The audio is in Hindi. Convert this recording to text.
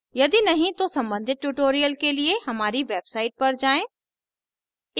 यदि नहीं तो सम्बंधित tutorials के लिए हमारी website पर जाएँ